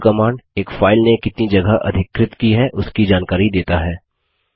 और do command एक file ने कितनी जगह अधिकृत की है उसकी जानकारी देता है